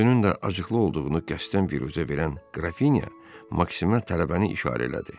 Özünün də acıqlı olduğunu qəsdən viruzə verən Qrafinya Maksimə tələbəni işarə elədi.